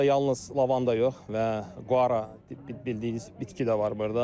Burda yalnız lavanda yox və Qara bildiyiniz bitki də var burda.